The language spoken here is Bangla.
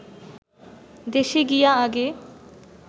দেশে গিয়া আগে